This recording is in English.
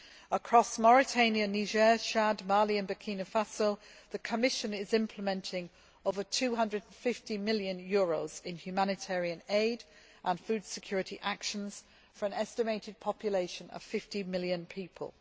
Across Mauritania, Niger, Chad, Mali and Burkina Faso, the Commission is implementing over EUR 250 million in humanitarian aid and food security actions for an estimated population of 50 million people.